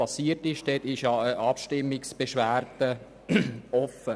Hier ist noch eine Abstimmungsbeschwerde offen.